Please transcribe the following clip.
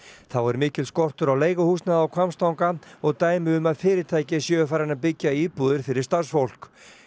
þá er mikill skortur á leiguhúsnæði á Hvammstanga og dæmi um að fyrirtæki séu farin að byggja íbúðir fyrir starfsfólk